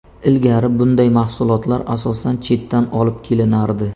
Ilgari bunday mahsulotlar asosan chetdan olib kelinardi.